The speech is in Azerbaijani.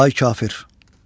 Ay kafir.